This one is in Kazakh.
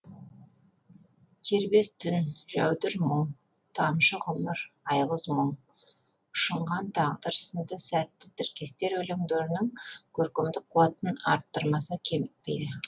кербез түн жәудір мұң тамшы ғұмыр айғыз мұң ұшынған тағдыр сынды сәтті тіркестер өлеңдерінің көркемдік қуатын арттырмаса кемітпейді